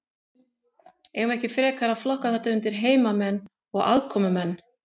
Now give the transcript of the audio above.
Eigum við ekki frekar að flokka þetta undir heimamenn og aðkomumenn?